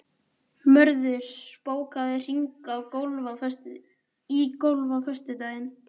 Mörður, bókaðu hring í golf á föstudaginn.